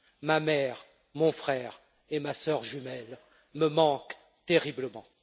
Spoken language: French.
Ma mère, mon frère et ma sœur jumelle me manquent terriblement.